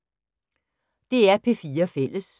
DR P4 Fælles